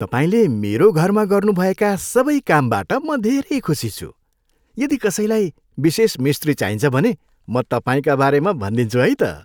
तपाईँले मेरो घरमा गर्नुभएका सबै कामबाट म धेरै खुसी छु । यदि कसैलाई विशेष मिस्त्री चाहिन्छ भने, म तपाईँका बारेमा भनिदिन्छु है त।